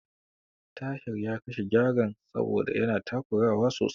Tahir ya kashe Gyaren saboda yana takurawa sosai.